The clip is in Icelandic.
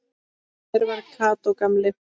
Hver var Kató gamli?